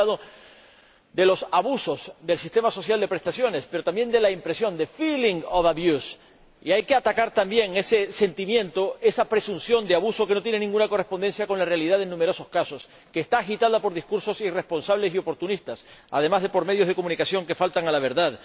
Usted ha hablado de los abusos del sistema social de prestaciones, pero también de la impresión de feeling of abuse y hay que atacar también ese sentimiento, esa presunción de abuso que no tiene ninguna correspondencia con la realidad en numerosos casos, que está agitada por discursos irresponsables y oportunistas, además de por medios de comunicación que faltan a la verdad.